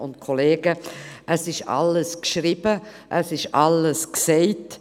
Es steht alles geschrieben, es wurde alles gesagt.